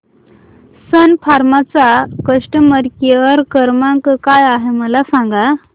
सन फार्मा चा customer care क्रमांक काय आहे मला सांगा